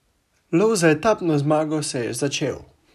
Lov za etapno zmago se je začel!